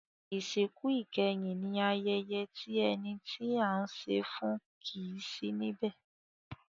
Ìsìnkú ìkẹyìn ní ayẹyẹ tí ẹni tí à ń ṣe e fún kìí sí níbẹ̀.